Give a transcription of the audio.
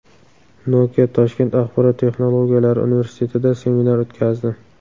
Nokia Toshkent axborot texnologiyalari universitetida seminar o‘tkazdi.